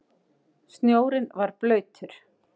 Snjórinn var blautur.